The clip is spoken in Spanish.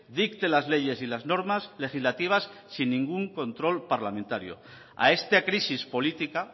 dicte las leyes y las normas legislativas sin ningún control parlamentario a esta crisis política